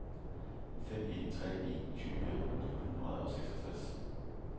fem en tre en tyve ni hundrede og seksogtres